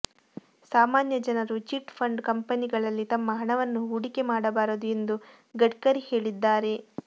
ಸಾಮಾನ್ಯ ಜನರು chit fund ಕಂಪೆನಿಗಳಲ್ಲಿ ತಮ್ಮ ಹಣವನ್ನು ಹೂಡಿಕೆ ಮಾಡಬಾರದು ಎಂದು ಗಡ್ಕರಿ ಹೇಳಿದ್ದಾರೆ